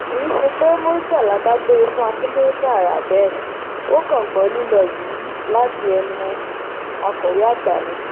kì í ṣe pé murtala dágbére fún akindélé tààrà bẹ́ẹ̀ ò kàn gbọ́ lílò yìí láti ẹnu akọ̀wé àgbà ni